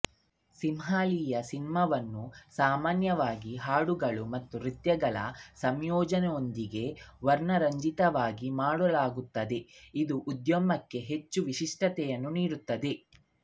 ಸಿಂಹಳೀಯ ಸಿನಿಮಾವನ್ನು ಸಾಮಾನ್ಯವಾಗಿ ಹಾಡುಗಳು ಮತ್ತು ನೃತ್ಯಗಳ ಸಂಯೋಜನೆಯೊಂದಿಗೆ ವರ್ಣರಂಜಿತವಾಗಿ ಮಾಡಲಾಗುತ್ತದೆ ಇದು ಉದ್ಯಮಕ್ಕೆ ಹೆಚ್ಚು ವಿಶಿಷ್ಟತೆಯನ್ನು ನೀಡುತ್ತದೆ